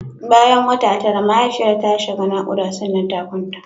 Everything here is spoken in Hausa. Bayan wata tara mahaifiyar ta shiga naƙuda sannan ta kwanta.